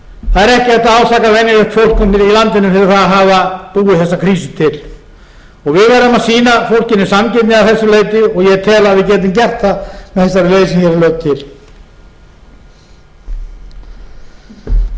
það er ekki hægt að ásaka venjulegt fólk í landinu fyrir það að hafa búið þessa krísu til við verðum að sýna fólkinu sanngirni að þessu leyti og ég tel að við getum gert það með þessari breytingu sem